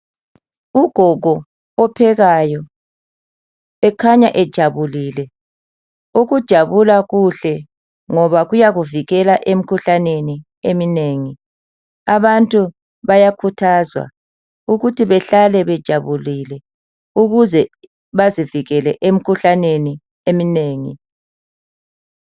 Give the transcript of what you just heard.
Ugogo ophekayo ,ekhanya ejabulile .Ukujabula kuhle ngoba kuyakuvikela emkhuhlaneni eminengi. Abantu bayakhuthazwa ukuthi behlale bejabulile ukuze bazivikele emkhuhlaneni eminengi.